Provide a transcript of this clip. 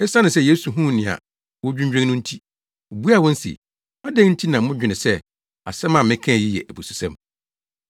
Esiane sɛ Yesu huu nea wodwinnwen no nti, obuaa wɔn se, “Adɛn nti na modwene sɛ asɛm a mekae yi yɛ abususɛm?”